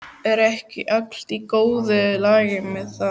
Er ekki allt í góðu lagi með það?